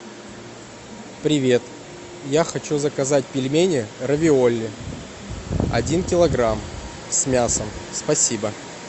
привет я хочу заказать пельмени равиоли один килограмм с мясом спасибо